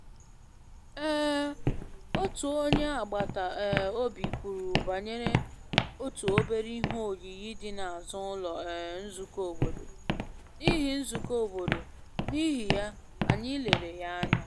um Otu onye agbata um obi kwuru banyere otu obere ihe oyiyi dị n’azụ ụlọ um nzukọ obodo, n’ihi nzukọ obodo, n’ihi ya, anyị lere ya anya